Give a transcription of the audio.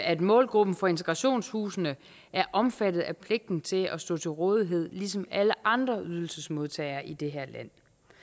at målgruppen for integrationshusene er omfattet af pligten til at stå til rådighed ligesom alle andre ydelsesmodtagere i det her land